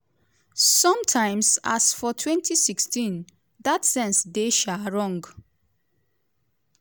sometimes as for 2016 dat sense dey um wrong.